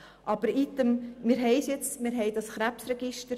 Aber item, wir haben es jetzt und wir haben das Krebsregister.